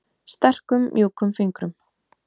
Sterkum mjúkum fingrum.